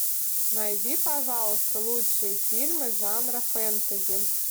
найди пожалуйста лучшие фильмы жанра фэнтези